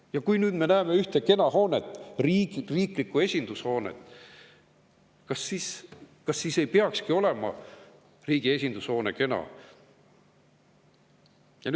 Ja kui nüüd me näeme ühte kena hoonet, riigi esindushoonet, siis, kas ei peakski üks riigi esindushoone olema kena.